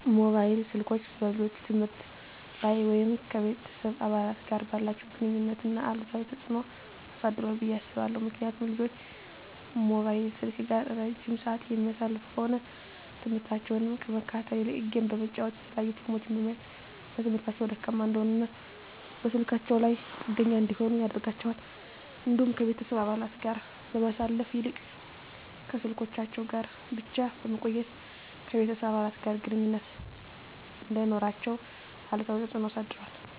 መሞባይል ስልኮች በልጆች የትምህርት ላይ ወይም ከቤተሰብ አባላት ጋር ባላቸው ግንኙነት ላይ አሉታዊ ተጽዕኖ አሳድሯል ብየ አስባለሁ። ምክንያቱም ልጆች ሞባይል ስልክ ጋር እረጅም ስዓት የሚያሳልፉ ከሆነ ትምህርሞታቸውን ከመከታተል ይልቅ ጌም በመጫወት የተለያዩ ፊልሞችን በማየት በትምህርታቸው ደካማ እንዲሆኑና በስልካቸው ላይ ጥገኛ እንዲሆኑ ያደርጋቸዋል። እንዲሁም ከቤተሰብ አባለት ጋር ከማሳለፍ ይልቅ ከስልኮቻቸው ጋር ብቻ በመቆየት ከቤተሰብ አባለት ጋር ግንኙነት እንዳይኖራቸው አሉታዊ ተፅዕኖ አሳድሯል።